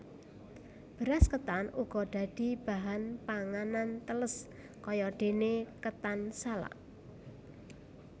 Beras ketan uga dadi bahan panganan tèlès kayadene ketan salak